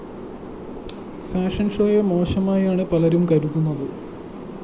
fashion ഷോയെ മോശമായാണ് പലരും കരുതുന്നത്